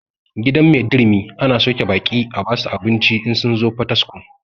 Gidan maidurumi ana sauke baƙi a basu abinci in sun zo pataskuma